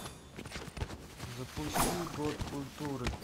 запусти год культуры